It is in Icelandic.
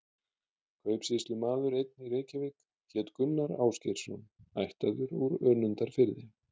Kaupsýslumaður einn í Reykjavík hét Gunnar Ásgeirsson, ættaður úr Önundarfirði.